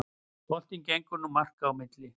Boltinn gengur nú marka á milli